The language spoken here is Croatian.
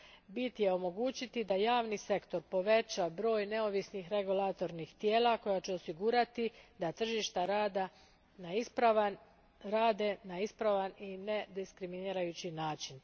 Bit je omogućiti da javni sektor poveća broj neovisnih regulatornih tijela koja će osigurati da tržišta rada rade na ispravan i nediskriminirajući način.